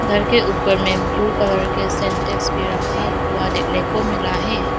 घर के ऊपर में ब्ल्यू कलर के सिंटेक्स भी रखा हुआ देखने को मिला है।